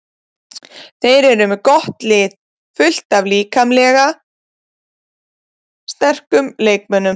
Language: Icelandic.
Þeir eru með gott lið, fullt af líkamlega sterkum leikmönnum.